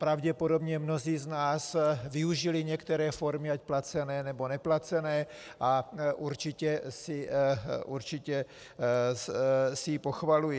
Pravděpodobně mnozí z nás využili některé formy ať placené, nebo neplacené a určitě si ji pochvalují.